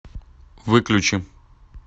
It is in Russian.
выключи